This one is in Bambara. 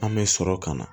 An bɛ sɔrɔ ka na